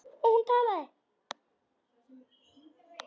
Og hún talaði.